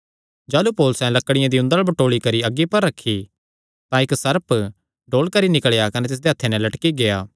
जाह़लू पौलुसैं लकड़ियां दी उंदल़ बटोल़ी करी अग्गी पर रखी तां इक्क सर्प डोल करी निकल़ेया कने तिसदे हत्थे नैं लटकी गेआ